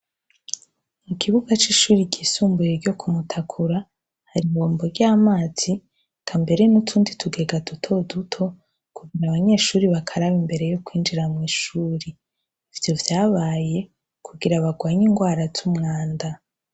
Ikibuga cisumbuye ryisumbuye ryo kumutakura hari ibombo ryamazi eka mbere nutundi tuntu dutega dutoduto mubanyeshure bakaraba imbere yo kwinjira mwishure ivyo vyabaye kugira banrwanye inrwa zumwanda